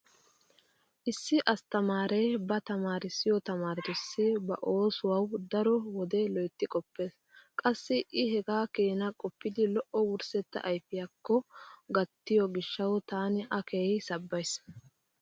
Issi asttamaaree ba tamaarissiyo tamaaretussi ba oosuwawu daro wode loytti qoppees. Qassi I hegaa keenaa qoppidi lo'o wurssetta ayfiyakko gattiyo gishshawu taani A keehi sabbays.